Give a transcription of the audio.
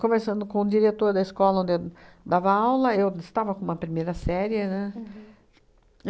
Conversando com o diretor da escola onde eu dava aula, eu estava com uma primeira série, né?